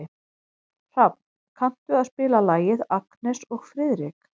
Hrafn, kanntu að spila lagið „Agnes og Friðrik“?